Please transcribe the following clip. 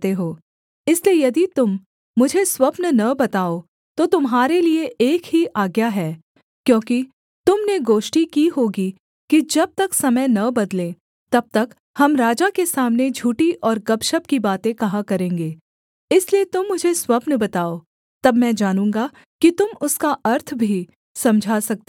इसलिए यदि तुम मुझे स्वप्न न बताओ तो तुम्हारे लिये एक ही आज्ञा है क्योंकि तुम ने गोष्ठी की होगी कि जब तक समय न बदले तब तक हम राजा के सामने झूठी और गपशप की बातें कहा करेंगे इसलिए तुम मुझे स्वप्न बताओ तब मैं जानूँगा कि तुम उसका अर्थ भी समझा सकते हो